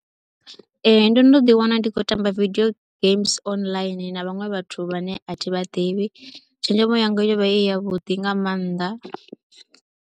Ee ndo no ḓiwana ndi khou tamba video games online na vhaṅwe vhathu vhane a thi vha ḓivhi, tshenzhemo yanga yo vha i yavhuḓi nga maanḓa.